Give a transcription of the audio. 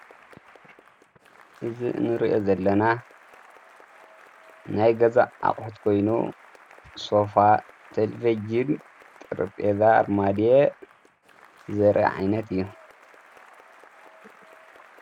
እዝ እንርአ ዘለና ናይ ገዛእ ኣቕሕት ኮይኑ ሶፋ ተልፌጅን ጥርጴዛ ኣርማድ ዘረዓይነት እዩ።